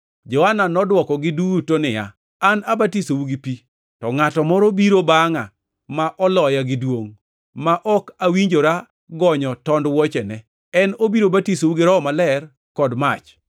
Johana nodwokogi duto niya, “An abatisou gi pi. To ngʼato moro biro bangʼa ma oloya gi duongʼ, ma ok awinjora gonyo tond wuochene. En obiro batisou gi Roho Maler kod mach.